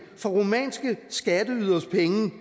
for rumænske skatteyderes penge